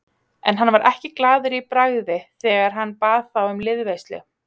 En hann var ekki glaður í bragði þegar hann bað þá um liðveislu.